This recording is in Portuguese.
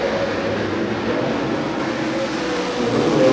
Eu nunca fiquei em recuperação, mas eu não era.